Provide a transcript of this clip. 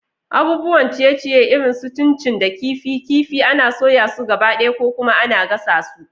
Abubuwan ciye-ciye irin su chin chin da kifi kifi ana soya su gabaɗaya ko kuma ana gasa su.